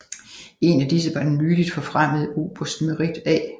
En af disse var den nyligt forfremmede oberst Merritt A